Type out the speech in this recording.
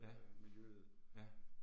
Ja, ja